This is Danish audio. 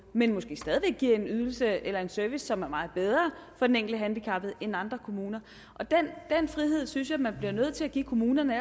men måske stadig væk giver en ydelse eller en service som er meget bedre for den enkelte handicappede end i andre kommuner den frihed synes jeg man bliver nødt til at give kommunerne